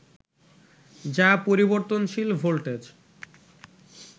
যা পরিবর্তনশীল ভোল্টেজ